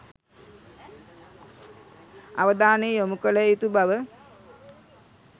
අවධානය යොමු කළ යුතු බව